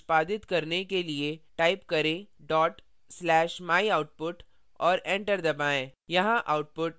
program को निष्पादित करने के लिए type करें dot slash /myoutput और enter दबाएँ